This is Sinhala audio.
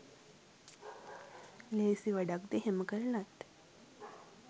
ලේසි වැඩක්ද එහෙම කරලත්